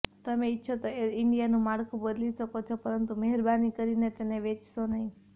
તમે ઈચ્છો તો એર ઈન્ડિયાનું માળખુ બદલી શકો છો પરંતુ મહેરબાની કરીને તેને વેચશો નહીં